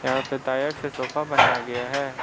यहां पर टायर से सोफा बनाया गया है।